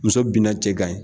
Muso bina cɛ kan.